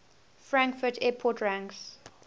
frankfurt airport ranks